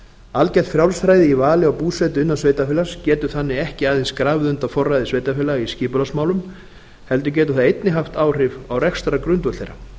algert frjálsræði í vali á búsetu innan sveitarfélags getur þannig ekki aðeins grafið undan forræði sveitarfélaga í skipulagsmálum heldur getur það einnig að áhrif á rekstrargrundvöll þeirra